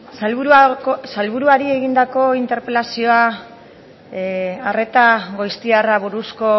sailburuari arreta goiztiarrari buruzko